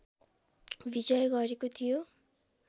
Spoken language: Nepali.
विजय गरेको थियो